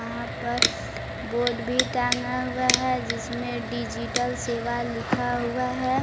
यहां पर बोर्ड भी टांगा हुआ है जिसमें डिजिटल सेवा लिखा हुआ है।